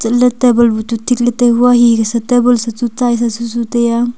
lat table bu tu tin le tai hua hihi ke sa table bu chu setsai susutaiya.